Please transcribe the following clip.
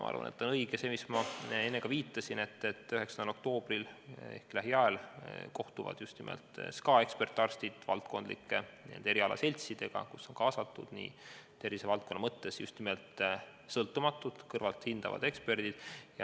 Ma arvan, et õige on see, millele ma ka enne viitasin, et 9. oktoobril ehk lähiajal kohtuvad SKA ekspertarstid valdkondlike erialaseltsidega, kuhu on kaasatud tervisevaldkonna mõttes just nimelt sõltumatud, kõrvalt hindavad eksperdid.